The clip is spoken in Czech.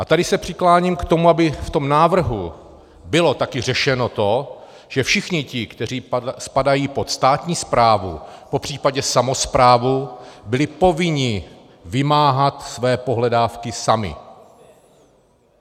A tady se přikláním k tomu, aby v tom návrhu bylo taky řešeno to, že všichni ti, kteří spadají pod státní správu, popřípadě samosprávu, byli povinni vymáhat své pohledávky sami.